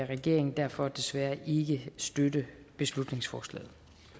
regeringen derfor desværre ikke støtte beslutningsforslaget